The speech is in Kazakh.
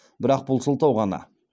бірақ бұл сылтау ғана